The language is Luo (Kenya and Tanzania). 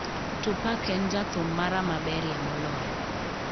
Tupac en jathum mara maberie moloyo